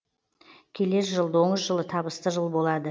келер жыл доңыз жылы табысты жыл болады